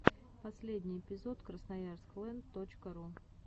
последний эпизод красноярск лэнд точка ру